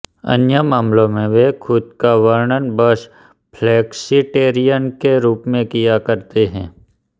अन्य मामलों में वे खुद का वर्णन बस फ्लेक्सीटेरियन के रूप में किया करते हैं